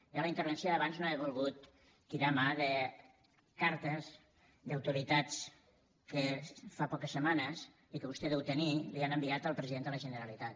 jo en la intervenció d’abans no he volgut tirar mà de cartes d’autoritats que fa poques setmanes i que vostè deu tenir han enviat al president de la generalitat